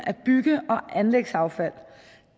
af bygge og anlægsaffald